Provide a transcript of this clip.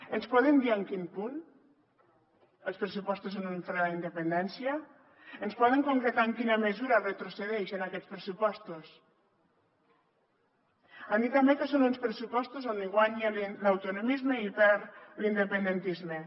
ens poden dir en quin punt els pressupostos són un fre a la independència ens poden concretar en quina mesura retrocedeix en aquests pressupostos han dit també que són uns pressupostos on guanya l’autonomisme i perd l’independentisme